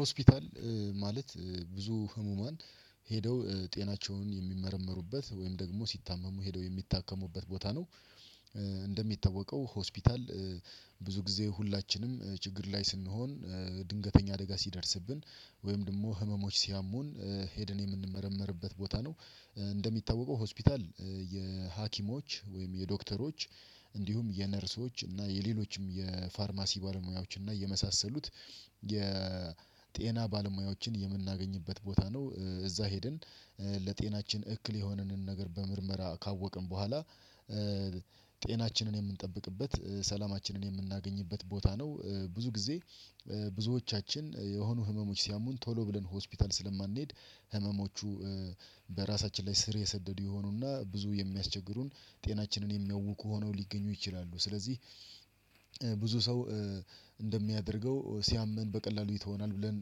ሆስፒታል ማለት ብዙ ህሙማን ሄደው ጤናቸውን የሚመረመሩበት ወይም ደግሞ ሲታመሙ ሄደው የሚታከሙበት ቦታ ነው። እንደሚታወቀው ሆስፒታል ብዙ ጊዜ ሁላችንም ችግር ላይ ስንሆን ድንገተኛ አደጋ ሲደርስብን ወይም ደግሞ ህመሞች ሲያሙን ሄደን የምንመረምርበት ቦታ ነው፣ እንደሚታወቀው ሆስፒታል የሀኪሞች ወይም የዶክተሮች እንዲሁም የነርሶች እና የሌሎችም፣ የፋርማሲ ባለሙያዎች እና የመሳሰሉት የጤና ባለሙያዎችን የምናገኝበት ቦታ ነው እዛ ሄድን ለጤናችን እክል የሆነንን ነገር በምርመራ ካወቅን በኋላ ጤናችንን የምንጠብቅበት፣ ሰላማችንን የምናገኝበት ቦታ ነው። ብዙ ጊዜ ብዙዎቻችን የሆኑ ህመሞች ሲያሙን ቶሎ ብለን ሆስፒታል ስለማንሄድ ህመሞቹ በራሳችን ላይ ስር የሰደዱ ይሆኑና ብዙ የሚያስቸግሩን ጤናችንን የሚያውኩ ሆነው ሊገኙ ይችላሉ ስለዚህ ብዙ ሰው እንደሚያደርገው ሲያምን በቀላሉ ይተወናል ብለን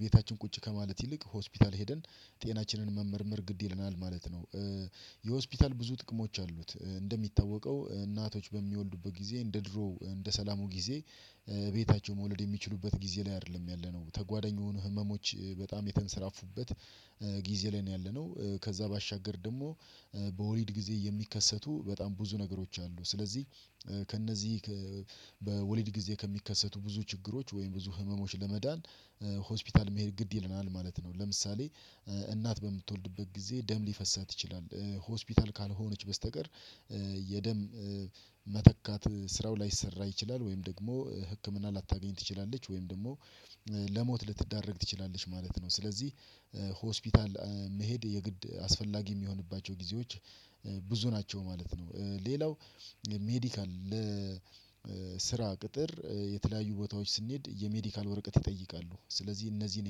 ቤታችን ቁጭ ከማለት ይልቅ ሆስፒታል ሄደን ጤናችንን መመርመር ግድ ይለናል ማለት ነው። የሆስፒታል ብዙ ጥቅሞች አሉት እንደሚታወቀው እናቶች በሚወልዱበት ጊዜ እንደ ድሮ እንደ ሰላሙ ጊዜ ቤታቸው መውለድ የሚችሉበት ጊዜ ላይ አይደለም ያለነው ተጓደኞቹ ህመሞች በጣም የተንሰራፉበት ጊዜ ላይ ነው ያለነው ከዛ ባሻገር ደግሞ በወሊድ ጊዜ የሚከሰቱ በጣም ብዙ ነገሮች አሉ ስለዚህ ከእነዚህ በወሊድ ጊዜ ከሚከሰቱ ብዙ ችግሮች ወይም ብዙ ህመሞች ለመዳን ሆስፒታል መሄድ ግድ ይለናል ማለት ነው፤ ለምሳሌ እናት በምትወልድበት ጊዜ ደም ሊፈሳት ይችላል ሆስፒታል ካልሆነች በስተቀር የደም መተካት ስራው ላይሰራ ይችላል ወይም ደግሞ ህክምና ላታገኝ ትችላለች ወይም ደግሞ ለሞት ልትዳረግ ትችላለች ማለት ነው ስለዚህ ሆስፒታል መሄድ የግድ አስፈላጊ የሚሆንባቸው ጊዜዎች ብዙ ናቸው ማለት ነው። ሌላው ሜዲካል ለስራ ቅጥር የተለያዩ ቦታዎች ስንሄድ የሜዲካል ወረቀት ይጠይቃሉ ስለዚህ እነዚህን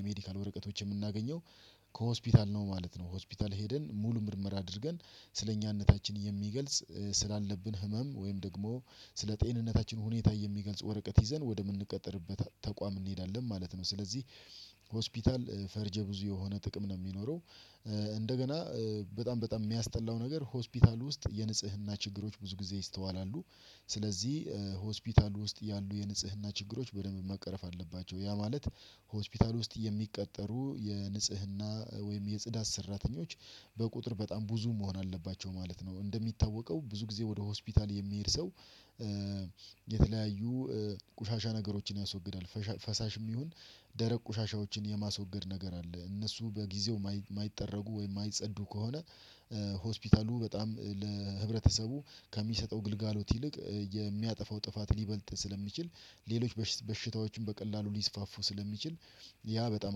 የሜዲካል ወረቀቶች የምናገኘው ከሆስፒታል ነው ማለት ነው ሆስፒታል ሄደን ሙሉ ምርመራ አድርገን ስለኛነታችን የሚገልጽ ስላለብን ህመም ወይም ደግሞ ስለጤንነታችን ሁኔታ የሚገልጽ ወረቀት ይዘን ወደምንቀጠርበት ተቋም እንሄዳለን ማለት ነው፤ ስለዚህ ሆስፒታል ፈርጀ ብዙ የሆነ ጥቅም ነው የሚኖረው እንደገና በጣም በጣም የሚያስጠላው ነገር ሆስፒታል ውስጥ የንጽህና ችግሮች ብዙ ጊዜ ይስተዋላሉ። ስለዚህ ሆስፒታል ውስጥ ያሉ የንጽህና ችግሮች በደንብ መቅረፍ አለባቸው ያ ማለት ሆስፒታል ውስጥ የሚቀጠሩ የንጽህና ወይም የጽዳት ሰራተኞች በቁጥር በጣም ብዙ መሆን አለባቸው ማለት ነው። እንደሚታወቀው ብዙ ጊዜ ወደ ሆስፒታል የሚሄድ ሰው የተለያዩ ቆሻሻ ነገሮችን ያስወግዳል ፈሳሽም ይሁን ደረቅ ቁሻሻዎችን የማስወገድ ነገር አለ እነሱን በጊዜው የማይጠረጉ ወይም የማይጸዱ ከሆነ ሆስፒታሉ በጣም ለህብረተሰቡ ከሚሰጠው ግልጋሎት ይልቅ የሚያጠፋው ጥፋት ሊበልጥ ስለሚችል ሌሎች በሽታዎችን በቀላሉ ሊስፋፉ ስለሚችል ያ በጣም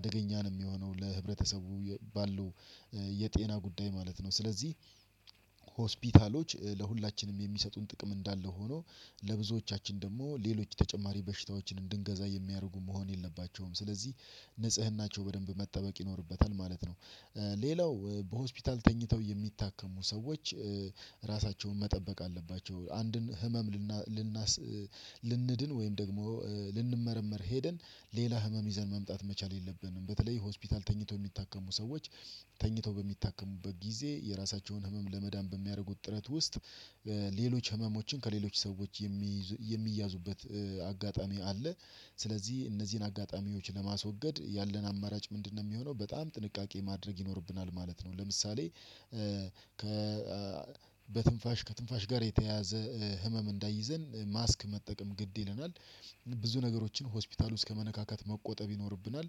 አደገኛ ነው የሚሆነው ለህብረተሰቡ ባለው የጤና ጉዳይ ማለት ነው ስለዚህ ሆስፒታሎች ለሁላችንም የሚሰጡን ጥቅም እንዳለ ሆኖ ለብዙዎቻችን ደግሞ ሌሎች ተጨማሪ በሽታዎችን እንድንገዛ የሚያደርጉ መሆን የለባቸውም። ስለዚህ ንጽህናቸው በደንብ መጠበቅ ይኖርበታል ማለት ነው። ሌላው በሆስፒታል ተኝተው የሚታከሙ ሰዎች ራሳቸውን መጠበቅ አለባቸው። አንድን ህመም ልናስ ልንድን ወይም ደግሞ ልንመረመር ሄደን ሌላ ህመም ይዘን መምጣት መቻል የለብንም በተለይ ሆስፒታል ተኝቶ የሚታከሙ ሰዎች ተኝቶ በሚታከሙበት ጊዜ የራሳቸውን ህመም ለመዳን በሚያደርጉት ጥረት ውስጥ ሌሎች ህመሞችን ከሌሎች ሰዎች የሚይዙ የሚያዙበት አጋጣሚ አለ ስለዚህ እነዚህን አጋጣሚዎች ለማስወገድ ያለን አማራጭ ምንድነው የሚሆነው በጣም ጥንቃቄ ማድረግ ይኖርብናል ማለት ነው ለምሳሌ ከ በትንፋሽ ከትንፋሽ ጋር የተያያዘ ህመም እንዳይዘን ማስክ መጠቀም ግድ ይለናል፣ ብዙ ነገሮችን ሆስፒታል ውስጥ ከመነካካት መቆጠብ ይኖርብናል፣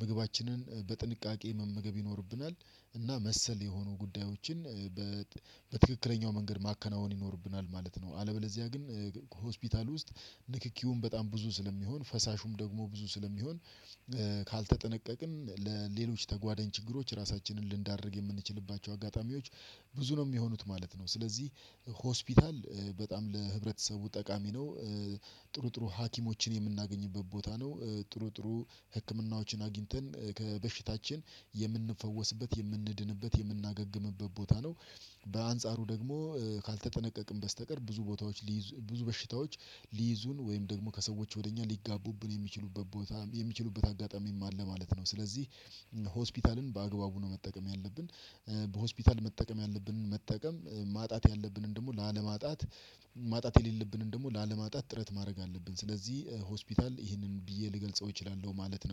ምግባችንን በጥንቃቄ መመገብ ይኖርብናል እና መሰል የሆኑ ጉዳዮችን በትክክለኛው መንገድ ማከናወን ይኖርብናል ማለት ነው አለበለዚያ ግን ሆስፒታል ውስጥ ንክኪውን በጣም ብዙ ስለሚሆን ፈሳሹም ደግሞ ብዙ ስለሚሆን ካልተጠነቀቅን ለሌሎች ተጓዳኝ ችግሮች ራሳችንን ልንዳርግ የምንችልባቸው አጋጣሚዎች ብዙ ነው የሚሆኑት ማለት ነው። ስለዚህ ሆስፒታል በጣም ለህብረተሰቡ ጠቃሚ ነው ጥሩ ጥሩ ሀኪሞችን የምናገኝበት ቦታ ነው፣ ጥሩ ጥሩ ህክምናዎችን አግኝተን ከበሽታችን የምንፈወስበት የምንድንበት የምናገግምበት ቦታ ነው። በአንጻሩ ደግሞ ካልተጠነቀቅን በስተቀር ብዙ ቦታዎች ሊይዙ ብዙ በሽታዎች ሊይዙን ወይም ደግሞ ከሰዎች ወደ እኛ ሊጋቡብን የሚችሉበት ቦታ የሚችሉበት አጋጣሚ ማለ ማለት ነው ስለዚህ ሆስፒታልን በአግባቡ ነው መጠቀም በሆስፒታል መጠቀም ያለብን መጠቀም ማጣት ያለብንን ደግሞ ላለማጣት ማጣት የሌለብንን ደግሞ ላለማጣት ጥረት ማድረግ አለብን ስለዚህ ሆስፒታል ይህንን ብዬ ልገልጸው እችላለሁ ማለት ነው።